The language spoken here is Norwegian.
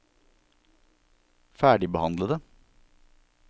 ferdigbehandlede